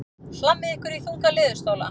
Hlammið ykkur í þunga leðurstóla.